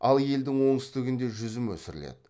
ал елдің оңтүстігінде жүзім өсіріледі